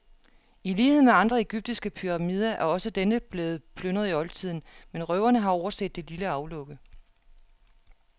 I lighed med andre egyptiske pyramider er også denne blevet plyndret i oldtiden, men røverne har overset det lille aflukke.